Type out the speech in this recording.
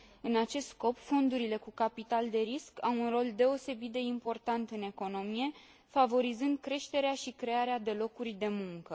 În acest scop, fondurile cu capital de risc au un rol deosebit de important în economie, favorizând creșterea și crearea de locuri de muncă.